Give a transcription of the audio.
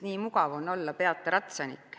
Nii mugav on olla "peata ratsanik".